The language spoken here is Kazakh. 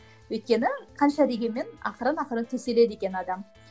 өйткені қанша дегенмен ақырын ақырын төселеді екен адам